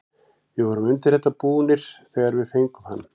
Við vorum undir þetta búnir þegar við fengum hann.